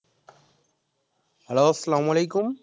hello আচ্ছালামু আলাইকুম